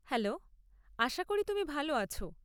Hello, আশা করি তুমি ভাল আছ।